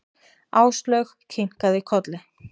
Áslaug kinkaði kolli.